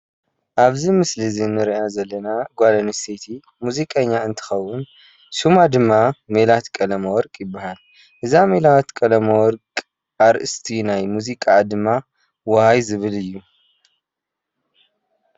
ኣብዚ ምስሊ ንርእያ ዘለና ጎል ኣንስትየቲ ሙዚቀኛ እዝንትትከውን ስማ ድማ ሜላት ቀለመወርቅ ይባሃል። እዛ ሜላት ቀለመወርቅ ኣርእስቲ ናይ ሙዚቃኣ ድማ ዋይ ዝብል እዩ።